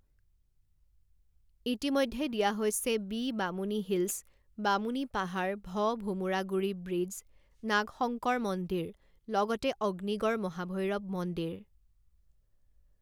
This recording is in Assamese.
ইতিমধ্যে দিয়া হৈছে বি বামুণী হিলছ বামুণী পাহাৰ ভ ভোমোৰাগুৰি ব্ৰিডজ নাগশংকৰ মন্দিৰ লগতে অগ্নিগড় মহাভৈৰৱ মন্দিৰ